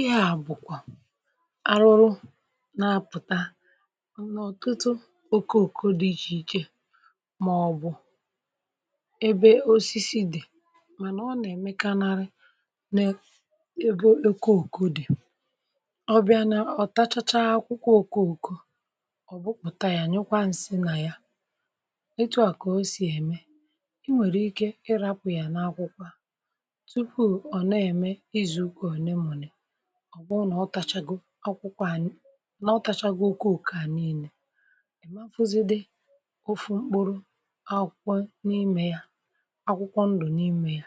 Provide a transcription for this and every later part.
ịa bùkwà arụrụ, um na-apụ̀ta m̀nà ọ̀tụtụ òkoòko dị iche iche, mà ọ̀ bụ̀ ebe osisi dì, mànà ọ nà-ème kanarị n’ebo òkoòko dị̀ ọbịa, n’ọ̀tachacha akwụkwọ òkoòko. Ọ̀ bụpụ̀ta ya, nyụkwa nsị nà ya. Etu à kà o si ème i nwèrè ike ịrapụ̀ yà n’akwụkwọ ọ bụrụ nà ọ tachagokwà akwụkwọ, ànà ọ tachagokè oke òkò à niilė, èmafụzidi ofu mkpụrụ akwụkwọ n’imė ya, akwụkwọ ndụ̀ n’imė ya.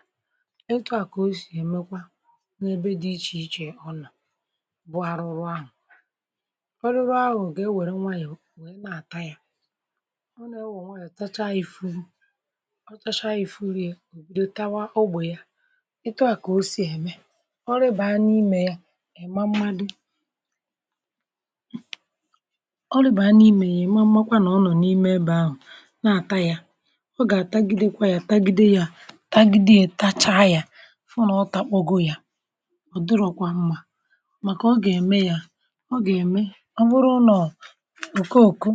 Etu à kà o sì èmekwa n’ebe dị iche iche. Ọ nà bụ arụrụ ahụ̀, orire ahụ̀ ga-ewère nwaànyị̀ wee na-àta yȧ, ọ nà-ewe nwaànyị̀ àtacha ifuru ya, ùbidù tawa ogbè ya. Etu à kà o si ème ịma mmadu̇ ọlụ bà a n’imė yà, ịma mmakwȧ nà ọ nọ̀ n’ime ebe ahụ̀ na-àta ya, ọ gà-àtagidekwa ya, tagide ya, tagide ya, etacha ya, fu nà ọ ta kpọgọ ya. um Ọ̀ dọrọkwa mmȧ, màkà ọ gà-ème ya, ọ gà-ème. Ọ wụrụ ụnọ̀ ǹke òku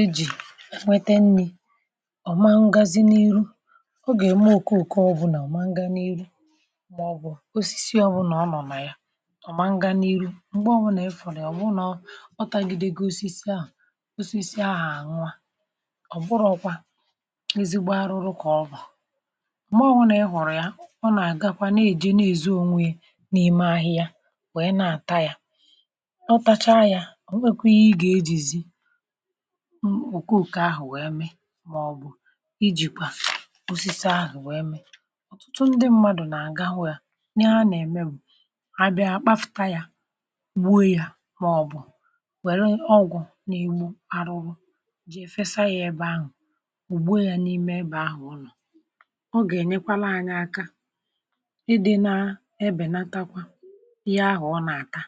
ejì nwete nni̇, ọ ma ngazi n’iru, ọ gà-ème òku òkòo. Bụ̇ nà ọ ma ngȧ n’iru, ọ mangaa n’ihu, m̀gbe obụ̀nà efùrù ya. Ọ bụrụ nà ọ o tagide gị, osisi aụ̀, osisi a ànụà ọ̀ bụrọ̇ ọkwa ezigbo arụrụ kà ọ bụ̀. M̀gbè obụ̀nà i hụ̀rụ̀ ya, ọ nà-àgakwa, na-èje, na-èzi ònwe n’ime ahịhịa, wèe na-àta ya, ọtacha ya. um O nwekwe ihe ị gà-ejìzi ukwu ùke ahụ̀ wee mee, màọbụ̀ ijikwà osisi ahụ̀ wee mee. Ọ̀tụtụ ndị mmadụ̀ nà-àgawe a nye ha nà-ème gbuo ya, maọbụ̀ nwee ọgwụ̀ na-egbu arụrụ iji èfesa ya ebe ahụ̀, ugbo ya n’ime ebe ahụ̀ nọ̀. Ọ ga-enyekwala anya aka ị dị na ebènatakwa ihe ahụ̀ ọ na-ata,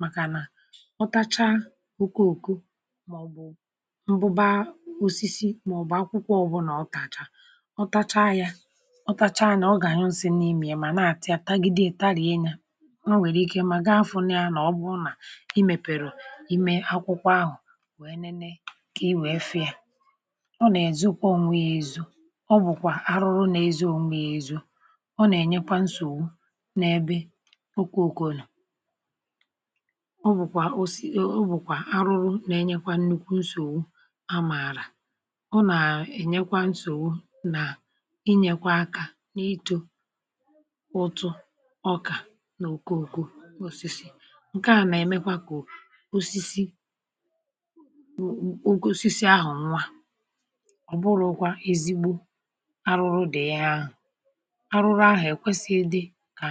maka nà ọtacha okooko maọbụ̀ mbụ̀ba osisi maọbụ̀ akwụkwọ obụ̀là ọ tacha, ọ tacha yà, ọ tacha nà ọ gà-anyụnsi n’imė ya, mà na-atà ya, tagide, tarienyà, imėpèrè, imė akwụkwọ ahụ̀, nwèe nene kà i wèe fee. Ọ nà-èzukọ, ọ nwee zụ̇. um Ọ bụ̀kwà arụrụ nà ezo ngwa ezo, ọ nà-ènyekwa nsògbu n’ebe okwu òkùnù. Ọ bụ̀kwà arụrụ nà-enyekwa nnukwu nsògbu, a mààrà ọ nà-ènyekwa nsògbu nà inyėkwa akȧ n’ito osisi ǹke à, nà-èmekwa kà osisi oke osisi ahụ̀ nwa. Ọ̀ bụ̀kwa ezigbo arụrụ dị̀ ya ahụ̀. Arụrụ ahụ̀ èkwesighi dị kà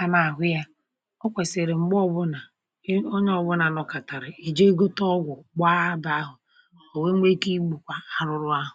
anà-àhụ ya; o kwèsìrì, m̀gbe obụ̀nà onye ọ̀bụ̀nà nòkàtàrà, èje gote ọgwụ̀, gbaa bàa ahụ̀, o nwekà igbùkwà arụrụ ahụ̀.